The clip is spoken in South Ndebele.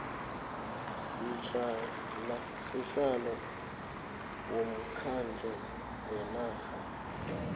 sihlalo womkhandlu wenarha